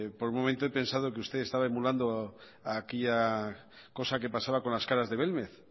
por un momento he pensado que usted estaba emulando aquella cosa que pasaba con las caras de belmez